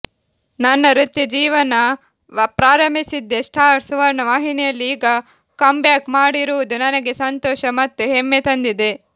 ನನ್ನ ವೃತ್ತಿ ಜೀವನ ಪ್ರಾರಂಭಿಸಿದ್ದೇ ಸ್ಟಾರ್ ಸುವರ್ಣ ವಾಹಿನಿಯಲ್ಲಿ ಈಗ ಕಂಬ್ಯಾಕ್ ಮಾಡಿರುವುದು ನನಗೆ ಸಂತೋಷ ಮತ್ತು ಹೆಮ್ಮೆ ತಂದಿದೆ